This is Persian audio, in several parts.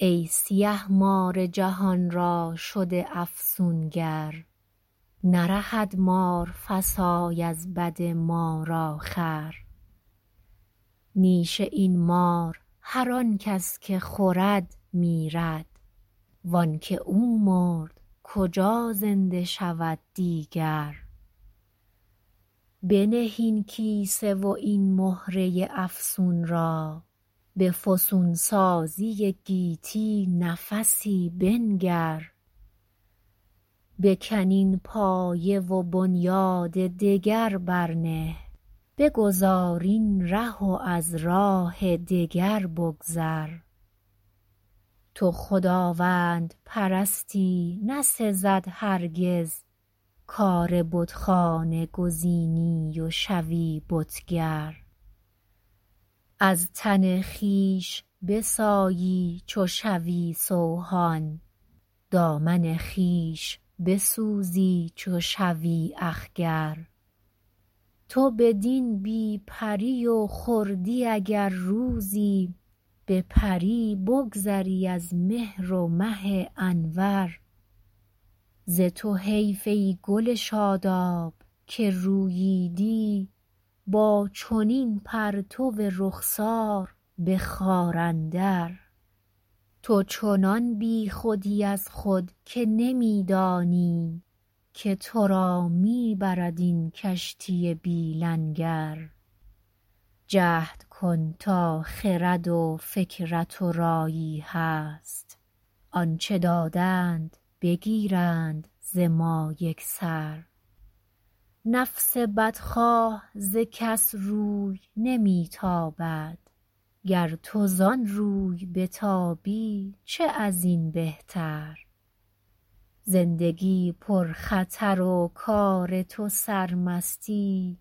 ای سیه مار جهان را شده افسونگر نرهد مار فسای از بد مار آخر نیش این مار هر آنکس که خورد میرد و آنکه او مرد کجا زنده شود دیگر بنه این کیسه و این مهره افسون را به فسون سازی گیتی نفسی بنگر بکن این پایه و بنیاد دگر بر نه بگذار این ره و از راه دگر بگذر تو خداوند پرستی نسزد هرگز کار بتخانه گزینی و شوی بتگر از تن خویش بسایی چو شوی سوهان دامن خویش بسوزی چو شوی اخگر تو بدین بی پری و خردی اگر روزی بپری بگذری از مهر و مه انور ز تو حیف ای گل شاداب که روییدی با چنین پرتو رخسار به خار اندر تو چنان بیخودی از خود که نمیدانی که ترا میبرد این کشتی بی لنگر جهد کن تا خرد و فکرت ورایی هست آنچه دادند بگیرند ز ما یکسر نفس بدخواه ز کس روی نمیتابد گر تو زان روی بتابی چه ازین بهتر زندگی پر خطر و کار تو سرمستی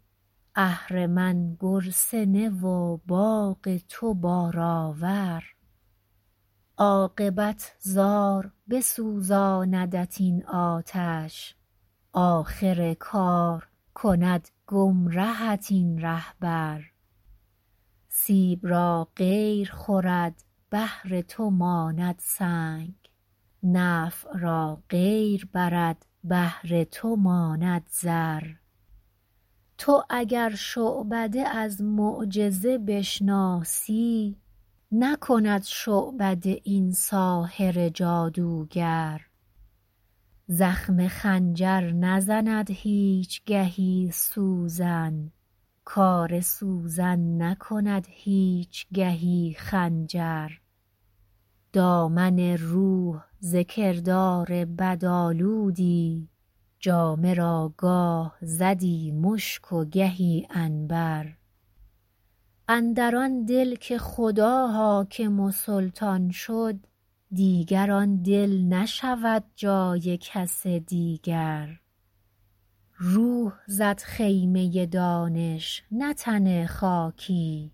اهرمن گرسنه و باغ تو بار آور عاقبت زار بسوزاندت این آتش آخر کار کند گمرهت این رهبر سیب را غیر خورد بهر تو ماند سنگ نفع را غیر برد بهر تو ماند ضر تو اگر شعبده از معجزه بشناسی نکند شعبده این ساحر جادوگر زخم خنجر نزند هیچگهی سوزن کار سوزن نکند هیچگهی خنجر دامن روح ز کردار بد آلودی جامه را گاه زدی مشک و گهی عنبر اندر آندل که خدا حاکم و سلطان شد دیگر آندل نشود جای کس دیگر روح زد خیمه دانش نه تن خاکی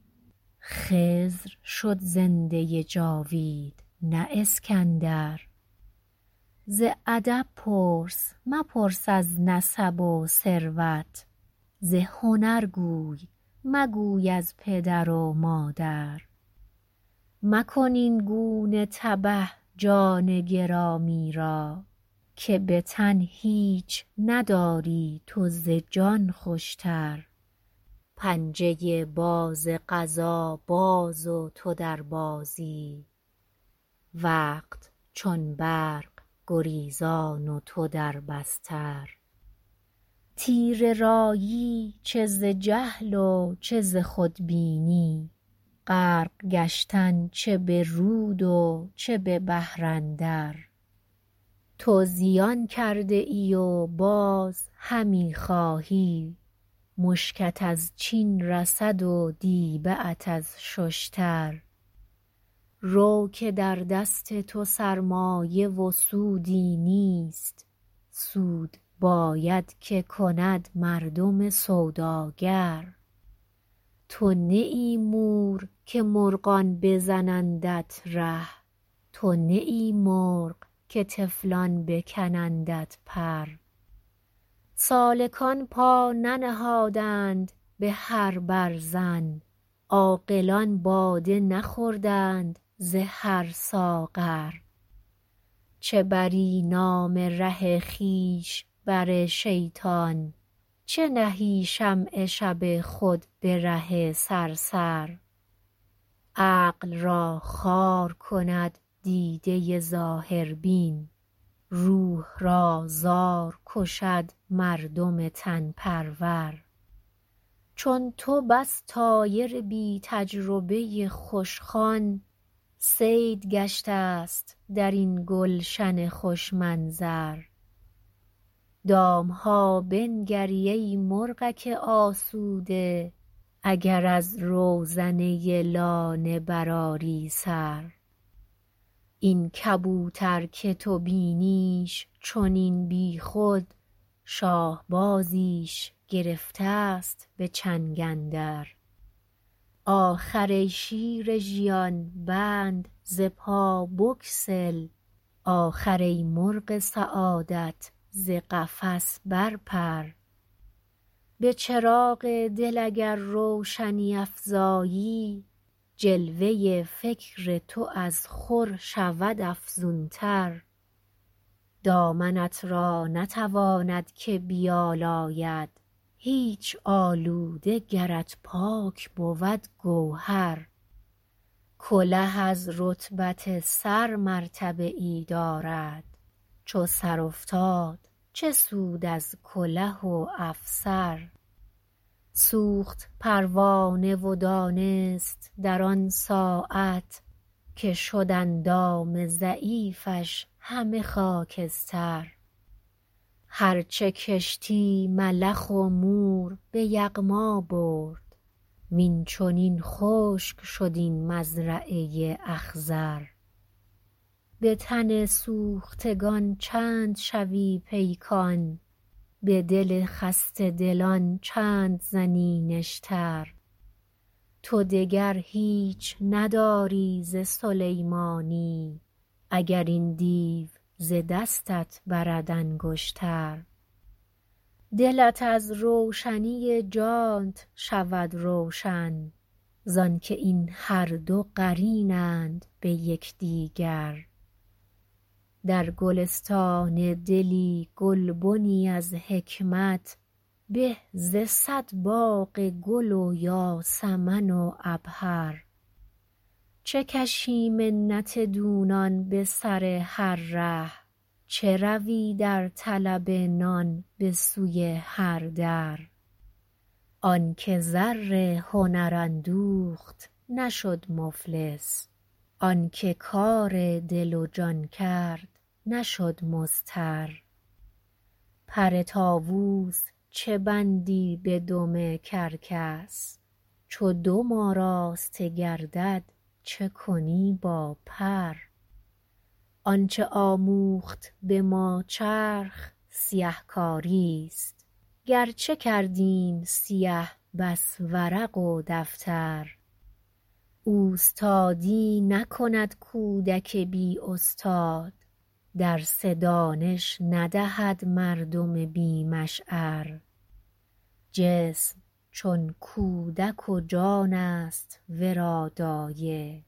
خضر شد زنده جاوید نه اسکندر ز ادب پرس مپرس از نسب و ثروت ز هنر گوی مگوی از پدر و مادر مکن اینگونه تبه جان گرامی را که بتن هیچ نداری تو ز جان خوشتر پنجه باز قضا باز و تو در بازی وقت چون برق گریزان و تو در بستر تیره رایی چه ز جهل و چه ز خود بینی غرق گشتن چه برود و چه ببحر اندر تو زیان کرده ای و باز همیخواهی مشکت از چین رسد و دیبه ات از ششتر رو که در دست تو سرمایه و سودی نیست سود باید که کند مردم سوداگر تو نه ای مور که مرغان بزنندت ره تو نه ای مرغ که طفلان بکنندت پر سالکان پا ننهادند بهر برزن عاقلان باده نخوردند ز هر ساغر چه بری نام ره خویش بر شیطان چه نهی شمع شب خود بره صرصر عقل را خوار کند دیده ظاهر بین روح را زار کشد مردم تن پرور چون تو بس طایر بی تجربه خوشخوان صید گشته است درین گلشن خوش منظر دامها بنگری ای مرغک آسوده اگر از روزنه لانه بر آری سر این کبوتر که تو بینیش چنین بیخود شاهبازیش گرفتست بچنگ اندر آخر ای شیر ژیان بند ز پا بگسل آخر ای مرغ سعادت ز قفس برپر به چراغ دل اگر روشنی افزایی جلوه فکر تو از خور شود افزونتر دامنت را نتواند که بیالاید هیچ آلوده گرت پاک بود گوهر کله از رتبت سر مرتبه ای دارد چو سر افتاد چه سود از کله و افسر سوخت پروانه و دانست در آن ساعت که شد اندام ضعیفش همه خاکستر هر چه کشتی ملخ و مور بیغما برد وین چنین خشک شد این مزرعه اخضر به تن سوختگان چند شوی پیکان به دل خسته دلان چند زنی نشتر تو دگر هیچ نداری ز سلیمانی اگر این دیو ز دستت برد انگشتر دلت از روشنی جانت شود روشن زانکه این هر دو قرینند بیکدیگر در گلستان دلی گلبنی از حکمت به ز صد باغ گل و یاسمن و عبهر چه کشی منت دونان بسر هر ره چه روی در طلب نان بسوی هر در آنکه زر هنر اندوخت نشد مفلس آنکه کار دل و جان کرد نشد مضطر پر طاوس چه بندی بدم کرکس چو دم آراسته گردد چه کنی با پر آنچه آموخت بما چرخ سیه کاریست گرچه کردیم سیه بس ورق و دفتر اوستادی نکند کودک بی استاد درس دانش ندهد مردم بی مشعر جسم چون کودک و جانست ورا دایه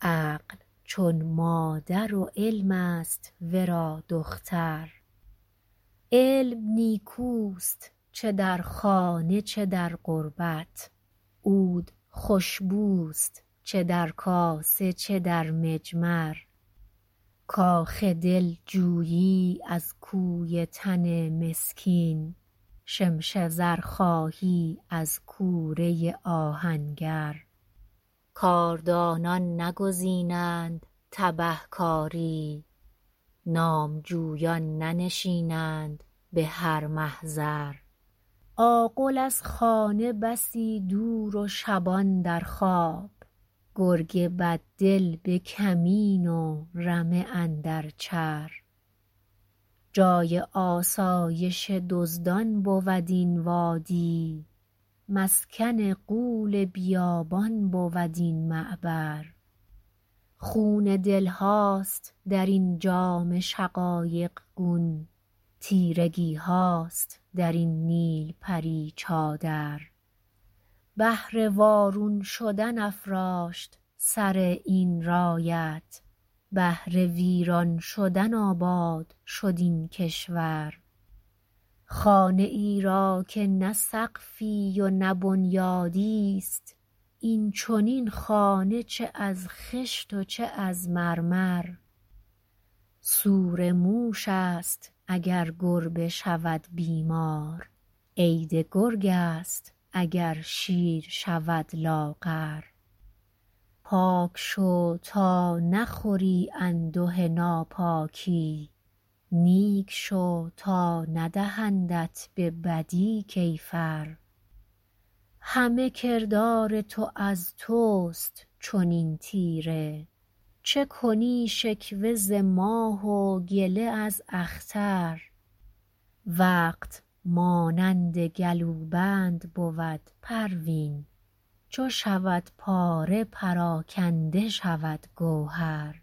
عقل چون مادر و علم است ورا دختر علم نیکوست چه در خانه چه در غربت عود خوشبوست چه در کاسه چه در مجمر کاخ دل جویی از کوی تن مسکین شمش زر خواهی از کوره آهنگر کاردانان نگزینند تبه کاری نامجویان ننشینند بهر محضر آغل از خانه بسی دور و شبان در خواب گرگ بددل بکمین و رمه اندر چر جای آسایش دزدان بود این وادی مسکن غول بیابان بود این معبر خون دلهاست درین جام شقایق گون تیرگیهاست درین نیلپری چادر بهر وارون شدن افراشت سر این رایت بهر ویران شدن آباد شد این کشور خانه ای را که نه سقفی و نه بنیادیست این چنین خانه چه از خشت و چه از مرمر سور موش است اگر گربه شود بیمار عید گرگ است اگر شیر شود لاغر پاک شو تا نخوری انده ناپاکی نیک شو تا ندهندت ببدی کیفر همه کردار تو از تست چنین تیره چه کنی شکوه ز ماه و گله از اختر وقت مانند گلوبند بود پروین چو شود پاره پراکنده شود گوهر